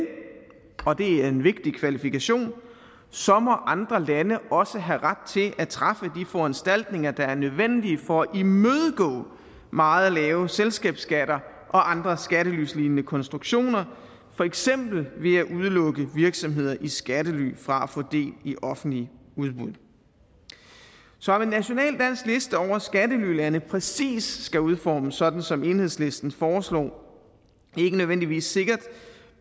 og det er en vigtig kvalifikation så må andre lande også have ret til at træffe de foranstaltninger der er nødvendige for at imødegå meget lave selskabsskatter og andre skattelylignende konstruktioner for eksempel ved at udelukke virksomheder i skattely fra at få del i offentlige udbud så at en national dansk liste over skattelylande præcis skal udformes sådan som enhedslisten foreslår er ikke nødvendigvis sikkert